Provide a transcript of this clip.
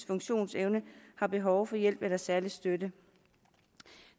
funktionsevne har behov for hjælp eller særlig støtte